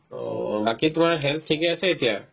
অ', বাকি তোমাৰ health থিকে আছে এতিয়া ?